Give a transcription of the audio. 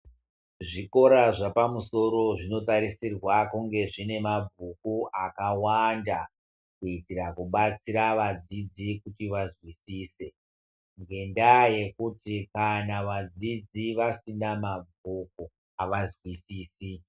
Zvikora zvepamusoro zvinotarisirwa kunge zvine mabhuku akawanda kuitira kubatsira vadzidzi kuti vazwisise. Ngendaa yekuti kana vadzidzi vasina mabhuku avanzwisisi.